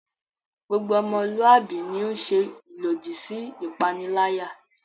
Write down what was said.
Gbogbo ọmọluwạbi ni o ń ṣe ilodi si ipanilaya